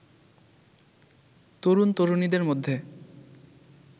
তরুন তরুনীদের মধ্যে